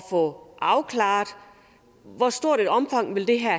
få afklaret hvor stort et omfang det her